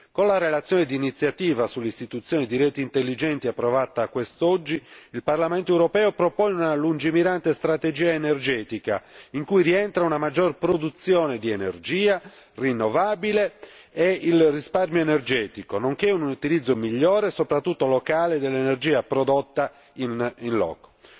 Con la relazione di iniziativa sull'istituzione di reti intelligenti approvata quest'oggi, il Parlamento europeo propone una lungimirante strategia energetica in cui rientra una maggiore produzione di energia rinnovabile e il risparmio energetico, nonché un utilizzo migliore, soprattutto locale, dell'energia prodotta in loco.